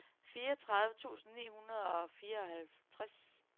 fireogtredive tusind ni hundrede og fireoghalvtreds